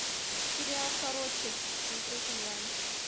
сериал короче смотреть онлайн